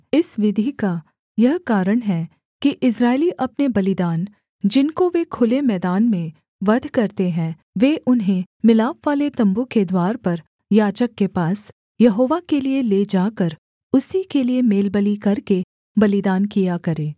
इस विधि का यह कारण है कि इस्राएली अपने बलिदान जिनको वे खुले मैदान में वध करते हैं वे उन्हें मिलापवाले तम्बू के द्वार पर याजक के पास यहोवा के लिये ले जाकर उसी के लिये मेलबलि करके बलिदान किया करें